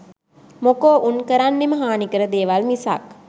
මොකෝ උන් කරන්නෙම හානි කර දේවල් මිසක්